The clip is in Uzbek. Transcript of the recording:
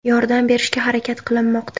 Yordam berishga harakat qilinmoqda.